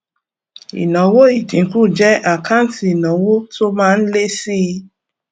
ìnáwó ìdínkù jẹ àkáǹtì ìnáwó tó má ń lé síi